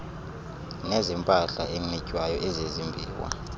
nezempahla enxitywayo ezezimbiwa